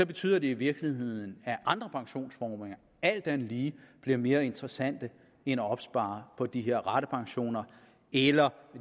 betyder det i virkeligheden at andre pensionsformer alt andet lige bliver mere interessante end at opspare på de her ratepensioner eller